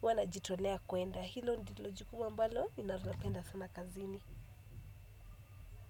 huwa najitolea kuenda. Na hilo ndilo jukumu ambalo, ninalopenda sana kazini.